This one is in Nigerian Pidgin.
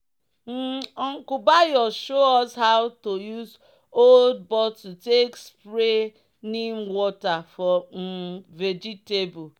um "uncle bayo show us how to use old bottle take spray neem water for um vegetable."